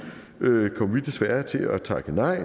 desværre til at takke nej